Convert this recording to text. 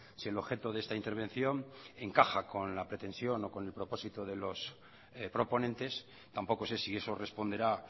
si el objeto de esta intervención encaja con la pretensión o con el propósito de los proponentes tampoco sé si eso responderá